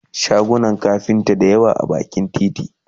shagunan kafinta da yawa na bakin titi